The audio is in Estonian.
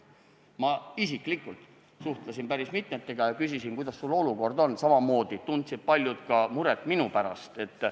Ma isiklikult suhtlesin päris mitmega ja küsisin, kuidas sul olukord on, samamoodi tundsid paljud muret ka minu pärast.